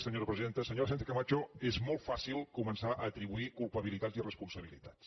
senyora sánchez·cama·cho és molt fàcil començar a atribuir culpabilitats i responsabilitats